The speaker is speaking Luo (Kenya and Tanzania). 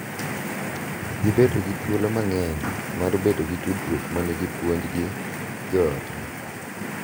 Gibedo gi thuolo mang’eny mar bedo gi tudruok ma nigi puonj gi jo otgi.